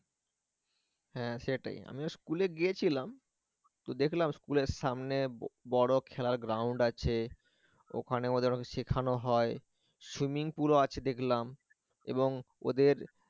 হ্যাঁ সেটাই আমি school এ গিয়েছিলাম তো দেখলাম school এর সামনে বড় খেলার ground আছে ওখানে ওদের শেখানো হয় swimming pool ও আছে দেখলাম এবং ওদের